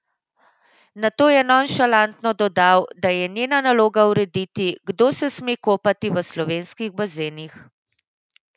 Nato je nonšalantno dodal, da je njena naloga urediti, kdo se sme kopati v slovenskih bazenih!